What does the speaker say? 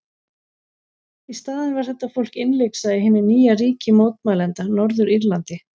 Í staðinn var þetta fólk innlyksa í hinu nýja ríki mótmælenda, Norður-Írlandi.